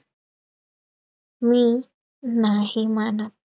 मीं नाही मानत